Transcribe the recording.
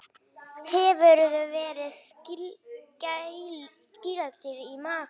Hefurðu verið kýldur í magann?